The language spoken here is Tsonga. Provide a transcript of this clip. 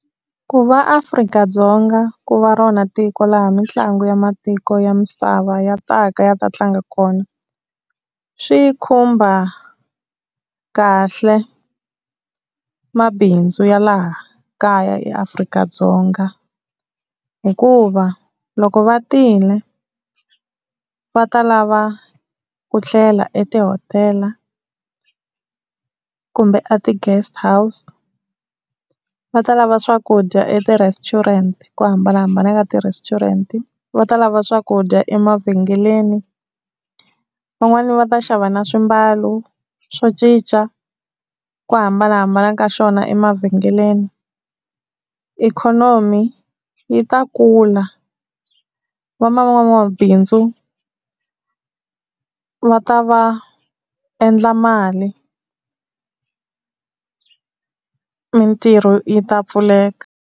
Ku va Afrika-Dzonga ku va rona tiko laha mitlangu ya matiko ya misava ya ta ka ya ta tlanga kona, swi khumba kahle mabindzu ya laha kaya eAfrika-Dzonga. Hikuva loko va tile va ta lava ku tlela etihotela, kumbe a ti-guest house. Va ta lava swakudya eti-restaurant hi ku hambanahambana ka ti-restaurant. Va ta lava swakudya emavhengeleni, van'wani va ta xava na swimbalo swo cinca ku hambanahambana ka swona emavhengeleni. Ikhonomi yi ta kula van'wamabindzu va ta va endla mali mintirho yi ta pfuleka.